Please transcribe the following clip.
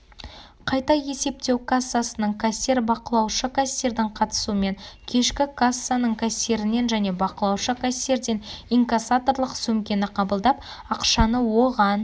қайта есептеу кассасының кассир бақылаушы кассирдің қатысуымен кешкі кассаның кассирінен және бақылаушы кассирден инкассаторлық сөмкені қабылдап ақшаны оған